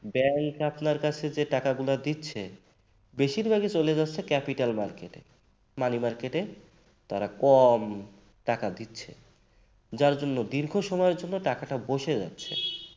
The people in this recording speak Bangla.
bank আপনার কাছে যে টাকাগুলো দিচ্ছে বেশিরভাগই চলে যাচ্ছে capital market এ। money market তারা কম টাকা দিচ্ছে। যার জন্য দীর্ঘ সময়ের জন্য টাকাটা বসে যাচ্ছে